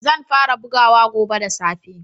Zan fara bugawa gobe da safe.